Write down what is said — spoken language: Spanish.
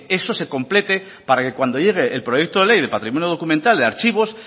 eso se complete para que cuando llegue el proyecto de ley de patrimonio documental de archivos